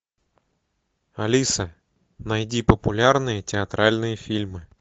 алиса найди популярные театральные фильмы